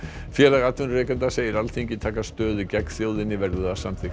félag atvinnurekenda segir Alþingi taka stöðu gegn þjóðinni verði það samþykkt